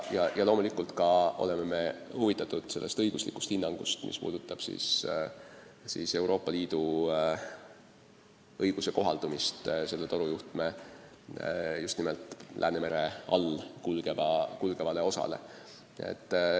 Loomulikult oleme huvitatud ka õiguslikust hinnangust, mis käsitleb Euroopa Liidu õiguse kohaldumist selle torujuhtme just nimelt Läänemere all kulgevale osale.